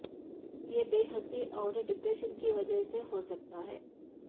یہ بے حسی اور ڈپریشن کی وجہ سے ہو سکتا ہے